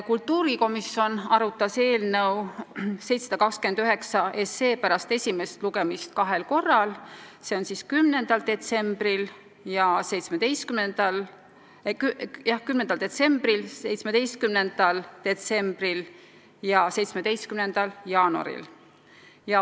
Kultuurikomisjon arutas eelnõu 729 pärast esimest lugemist kahel korral – see on siis 10. detsembril ja 17. detsembril – ning ühendatud eelnõu ühel korral: tänavu 17. jaanuaril.